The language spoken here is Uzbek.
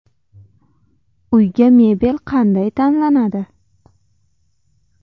Uyga mebel qanday tanlanadi?.